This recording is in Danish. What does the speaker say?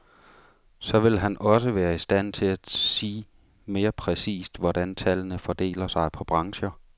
Så vil han også være i stand til at sig mere præcist, hvordan tallene fordeler sig på brancher.